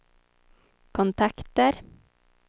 kontakter